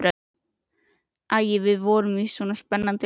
Æ, við vorum í svo spennandi leik.